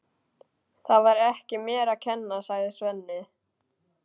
Það var ekki mér að kenna, sagði Svenni.